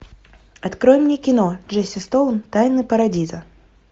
открой мне кино джесси стоун тайны парадиза